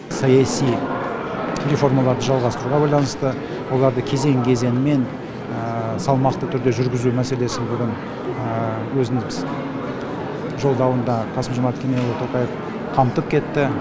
саяси реформаларды жалғастыруға байланысты оларды кезең кезеңімен салмақты түрде жүргізу мәселесін бүгін жолдауында қасым жомарт кемелұлы тоқаев қамтып кетті